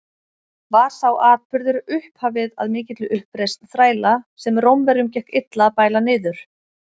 Var sá atburður upphafið að mikilli uppreisn þræla, sem Rómverjum gekk illa að bæla niður.